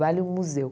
Vale um museu.